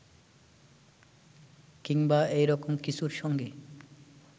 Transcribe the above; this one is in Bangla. কিংবা এরকম কিছুর সঙ্গে